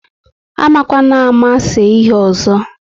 Amakwanama se ihe ọzọ!